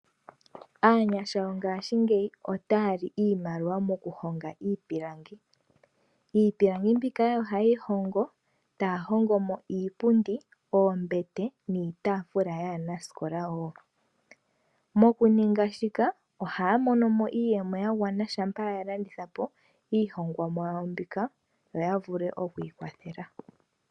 Aanyasha mongashingeyi otaya li iimaliwa mo ku honga iipilangi. Iipilangi mbika oyo haye yi hongo, taya hongo mo iipundi, oombete niitafula yaanasikola wo. Mo ku ninga shika ohaya mono iiyemo ya gwana shampa ya landitha po iihongomwa yawo mbika, to ya vulu oku ikwathela.